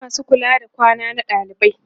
akwai masu kula da ɗakin kwana na dalibai